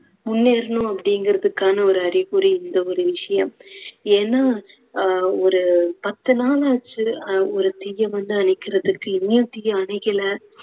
முன்னேறனும் அப்படிங்குறாதுக்கான ஒரு அறிகுறி இந்த ஒரு விஷயம். ஏன்னா அஹ் ஒரு பத்து நாளாச்சு அஹ் ஒரு தீயை வந்து அணைக்குறதுக்கு இன்னுமே தீ அணையல